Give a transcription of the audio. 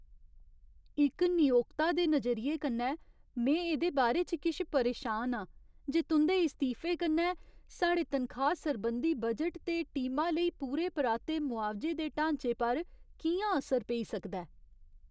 इक नियोक्ता दे नजरिये कन्नै, में एह्दे बारे च किश परेशान आं जे तुं'दे इस्तीफे कन्नै साढ़े तनखाह सरबंधी बजट ते टीमा लेई पूरे पराते मुआवजे दे ढांचे पर कि'यां असर पेई सकदा ऐ।